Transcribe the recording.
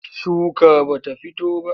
Shuka ba ta fito ba.